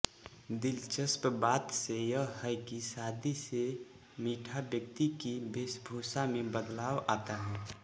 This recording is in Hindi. दिलचस्प बात यह है कि शादी से मीणा व्यक्ति की वेशभूषा में बदलाव आता है